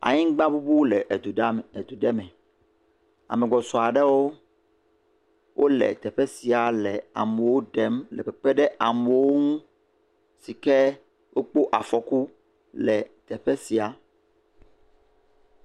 Anyigba ŋuŋu le edu ɖa, edu ɖe me. Ame gbɔsɔsɔ aɖewo le teƒe sia le amewo ɖem le kpekpem ɖe amewo ŋu si ke wokpɔ afɔku le teƒe sia.